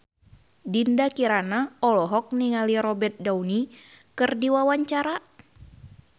Dinda Kirana olohok ningali Robert Downey keur diwawancara